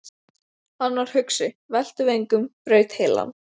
Hann var hugsi, velti vöngum, braut heilann.